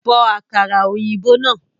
Bo àkàrà òyìnbó náà